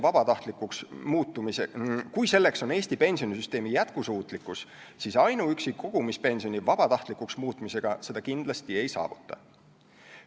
Kui see on Eesti pensionisüsteemi jätkusuutlikkus, siis ainuüksi kogumispensioni vabatahtlikuks muutmisega seda kindlasti ei saavuta.